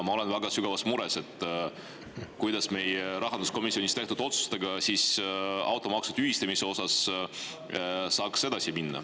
Ma olen väga sügavas mures, kuidas meie rahanduskomisjonis tehtud otsustega automaksu tühistamise kohta saaks edasi minna.